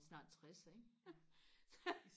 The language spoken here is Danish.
snart tres ikke